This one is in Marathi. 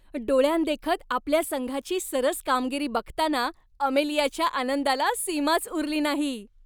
डोळ्यांदेखत आपल्या संघाची सरस कामगिरी बघताना अमेलियाच्या आनंदाला सीमाच उरली नाही.